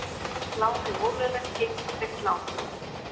Lánið ólöglegt gengistryggt lán